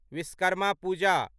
Vishwakarma Puja